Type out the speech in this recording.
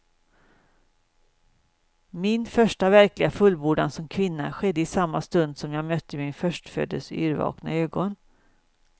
Min första verkliga fullbordan som kvinna skedde i samma stund som jag mötte min förstföddes yrvakna ögon.